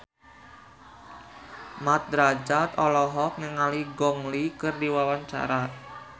Mat Drajat olohok ningali Gong Li keur diwawancara